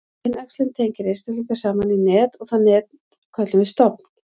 kynæxlun tengir einstaklinga saman í net og það net köllum við stofn